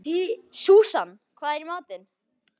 Súsan, hvað er í matinn?